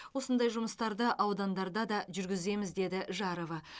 осындай жұмыстарды аудандарда да жүргіземіз деді жарова